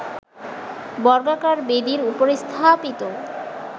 বর্গাকার বেদির ওপর স্থাপিত